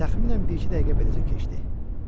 Təxminən bir-iki dəqiqə beləcə keçdi.